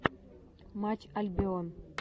матч альбион